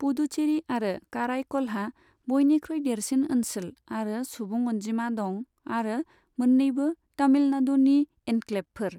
पुदुचेरि आरो काराईकलहा बयनिख्रुइ देरसिन ओनसोल आरो सुबुं अनजिमा दं आरो मोन्नैबो तमिलनाडुनि एनक्लेभफोर।